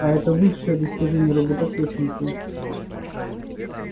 а это высшее достижение робототехники